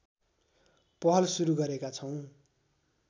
पहल सुरू गरेका छौँ